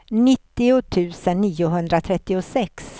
nittio tusen niohundratrettiosex